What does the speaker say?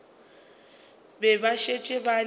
be ba šetše ba le